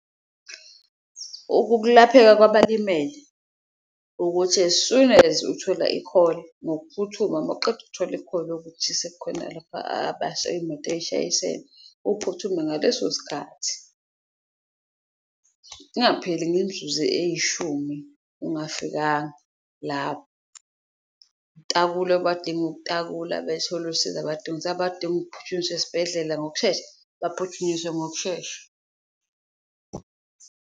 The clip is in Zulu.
Ukukulapheka kwabalimele ukuthi as soon as uthola ikholi ngokuphuthuma mawuqeda ukuthola ikholi yokuthi sekukhona lapho iyimoto eyishayisene uphuthume ngaleso sikhathi, kungapheli ngemzuzu eyishumi ungafikanga lapho. Utakule abadinga ukutakula, bethole usizo abadinga , abadinga ukuphuthunyiswa esibhedlela ngokushesha bephuthunyiswe ngokushesha.